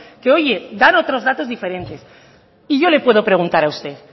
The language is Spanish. que oye dan otros datos diferentes y yo le puedo preguntar a usted